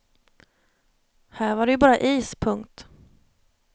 Här var det ju bara is. punkt